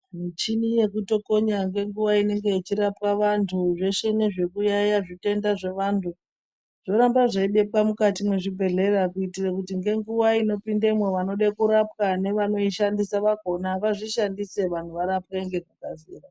Mitombo yekutokonya ngenguwa inenge ichirapa vantu zvese nezvekuyaiya zvitenda zvevantu zvoramba zveibekwa mukati mwezvibhedhlera kuitire kuti ngenguva inopindemo vanode kurapwa nevanoishandisa vakhona vazvishandise, vantu varapwe nekukasika.